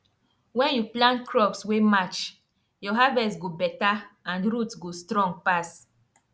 when you plant crops wey match your harvest go better and root go strong pass